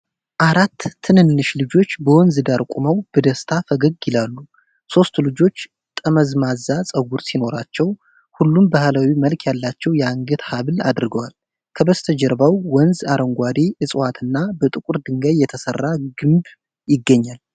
አራት ትንንሽ ልጆች በወንዝ ዳር ቆመው በደስታ ፈገግ ይላሉ። ሦስቱ ልጆች ጠመዝማዛ ፀጉር ሲኖራቸው፣ ሁሉም ባህላዊ መልክ ያላቸው የአንገት ሐብል አድርገዋል። ከበስተጀርባው ወንዝ፣ አረንጓዴ እጽዋትና በጥቁር ድንጋይ የተሠራ ግምብ ይገኛል።